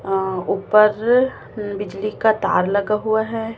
अ ऊपर बिजली का तार लगा हुआ है।